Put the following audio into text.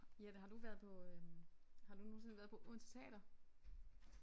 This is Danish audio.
Jette har du været på øh har du nogensinde været på Odense Teater?